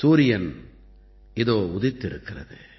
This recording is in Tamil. சூரியன் இதோ உதித்திருக்கிறது